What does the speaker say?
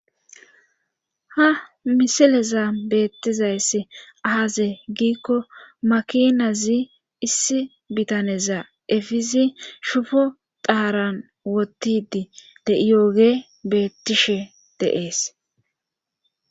Ha misileza beettizayss aaze giikko makinazi issi bitaneza efizi shofo daaran wottidi de7iyooge bettishe deees.